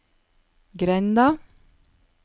grenda